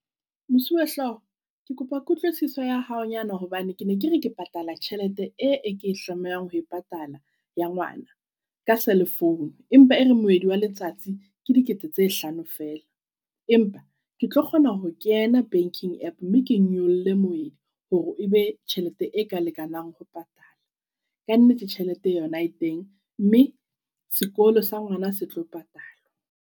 Mosuwehlooho kekopa kutlwisiso ya hao nyana. Hobane ke ne ke re ke patala tjhelete e ke e tlamehang ho e patala ya ngwana ka cellphone. Empa ere moedi wa letsatsi ke dikete tse hlano feela. Empa ketlo kgona ho kena banking app mme ke nyolle moedi. Hore e be tjhelete e ka lekanang ho patala. Kannete tjhelete yona e teng, mme sekolo sa ngwana se tlo patalwa.